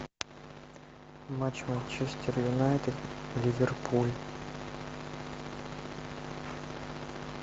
матч манчестер юнайтед ливерпуль